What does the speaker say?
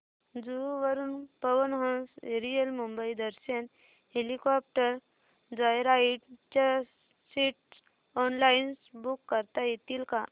जुहू वरून Pawan Hans aerial Mumbai Darshan helicopter joyride च्या seats online book करता येतील का